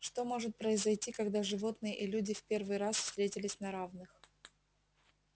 что может произойти когда животные и люди в первый раз встретились на равных